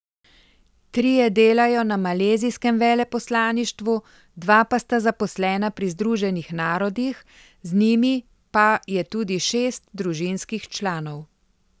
Trije delajo na malezijskem veleposlaništvu, dva pa sta zaposlena pri Združenih narodih, z njimi pa je tudi šest družinskih članov.